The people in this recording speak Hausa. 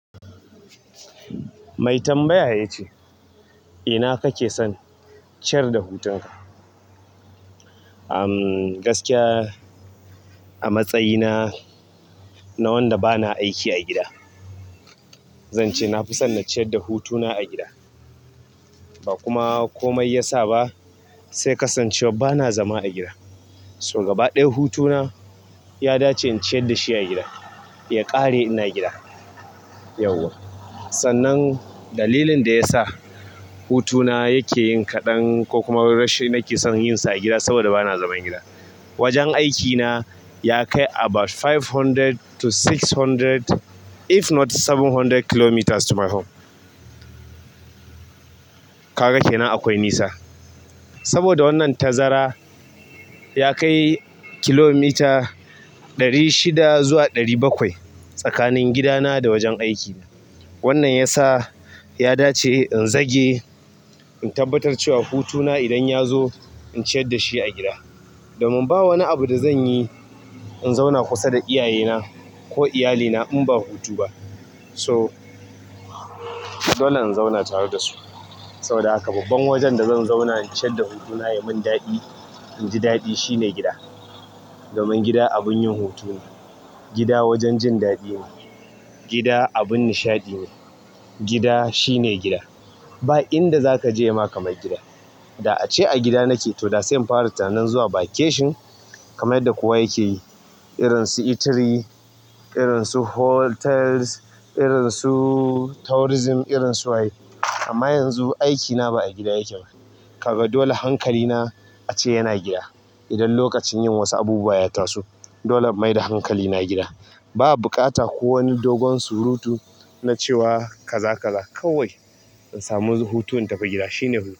Mai tambaya ya ce, "ina kake son ciyar da hutunka?" Umm gaskiya a matsayina na wanda ba na aiki a gida, zan ce na fi son na ciyar da hutuna a gida. Bakuma komai ya sa ba sai kasancewar ba na zama a gida. So gaba ɗaya hutuna ya dace in ciyar da shi a gida. Ya ƙare ina gida. Yauwa. Sannan dalilin da ya sa hutuna yake yin kaɗan ko kuma rashin nake son yin sa a gida saboda ba na zaman gida. Wajen aikina ya kai about five hundred to six hundred if not seven hundred kilometers to my home. Kaga kenan akwai nisa. Saboda wannan tazara ya kai kilomita ɗari shida zuwa ɗari bakwai tsakanin gidana da wajen aikina. Wannan ya sa ya dace in zage in tabbatar cewa hutuna idan ya zo in ciyar da shi a gida. Domin ba wani abu da zan yi in zauna kusa da iyayena ko iyalina in ba hutu ba. So dole in zauna tare da su. Saboda haka babban wajen da zan zauna in ciyar da hutuna ya mun daɗi, inji daɗi shine gida. Domin gida abun yin hutu ne. Gida wajen jin daɗi ne. Gida abin nishaɗi ne. Gida shine gida. Ba inda zaka je yama kamar gida. Da ace a gida nake to da sai in fara tunanin zuwa vacation kamar yadda kowa yake yi. Irin su Italy, irin su hotels, irin su tourism, irin su wa ye. Amma yanzu aikina ba a gida yake ba. Kaga dole hankalina a ce yana gida. Idan lokacin yin wasu abubuwa ya taso dole mai da hankali na gida. Ba buƙata ko wani dogon surutu na cewa kaza kaza. Kawai in samu hutun in tafi gida shine huhu.